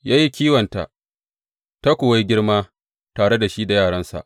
Ya yi kiwonta, ta kuwa yi girma tare shi da yaransa.